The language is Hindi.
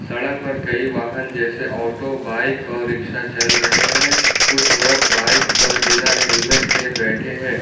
सड़क पर कई वाहन जैसे ऑटो बाइक और रिक्शा चल रहे हैं कुछ लोग बाइक पर बिना हेलमेट के बैठे हैं।